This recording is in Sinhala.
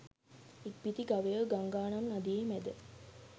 ඉක්බිති ගවයෝ ගංගානම් නදියෙහි මැද